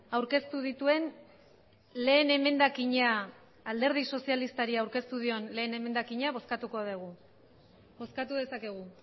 aurkeztu dituen lehen emendakina alderdi sozialistari aurkeztu dion lehen emendakina bozkatuko dugu bozkatu dezakegu